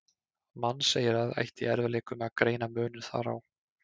Mannseyrað ætti í erfiðleikum með að greina muninn þar á.